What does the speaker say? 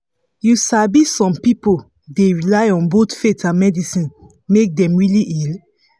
you sabi some pipo dey rely on both faith and medicine make dem really heal